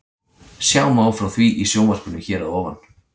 Sjá má frá því í sjónvarpinu hér að ofan.